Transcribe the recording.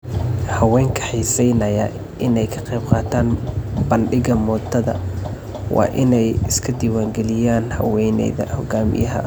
Haweenka xiisaynaya inay ka qaybqaataan bandhigga moodada waa inay iska diiwaan geliyaan haweeneyda hogaamiyaha ah.